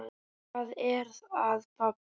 Hvað er að, pabbi?